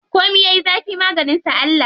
Komi yayi zafi maganin sa Allah.